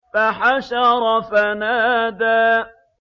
فَحَشَرَ فَنَادَىٰ